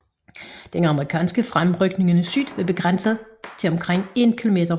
Den amerikanske fremrykning i syd var begrænset til omkring 1 km om dagen